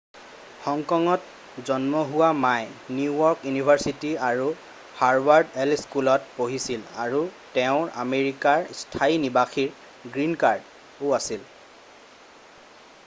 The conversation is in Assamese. "হং কঙত জন্ম হোৱা মাই নিউ য়ৰ্ক ইউনিভাৰ্চিটি আৰু হাৰ্ভাৰ্ড ল স্কুলত পঢ়িছিল আৰু তেওঁৰ আমেৰিকাৰ স্থায়ী নিবাসীৰ "গ্ৰীণ কাৰ্ড""ও আছিল।""